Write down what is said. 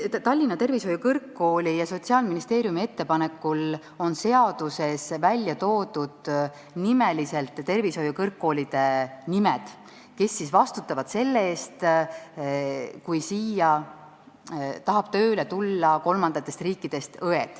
Tallinna Tervishoiu Kõrgkooli ja Sotsiaalministeeriumi ettepanekul on seaduses välja toodud nende tervishoiukõrgkoolide nimetused, kes vastutavad selle eest, kui siia tahavad tööle tulla õed kolmandatest riikidest.